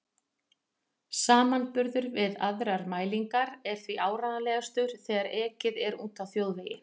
Samanburður við aðrar mælingar er því áreiðanlegastur þegar ekið er úti á þjóðvegi.